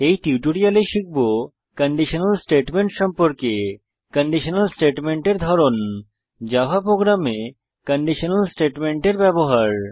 এই টিউটোরিয়ালে শিখব কন্ডিশনাল স্টেটমেন্ট সম্পর্কে কন্ডিশনাল স্টেটমেন্টের ধরন জাভা প্রোগ্রামে কন্ডিশনাল স্টেটমেন্টের ব্যবহার